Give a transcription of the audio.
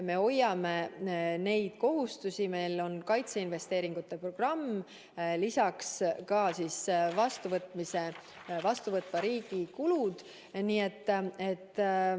Me hoiame neid kohustusi, meil on kaitseinvesteeringute programm, lisaks ka vastuvõtva riigi kulud.